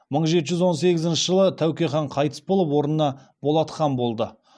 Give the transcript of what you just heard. мың жеті жүз он сегізінші жылы тәуке хан қайтыс болып орнына болат хан болды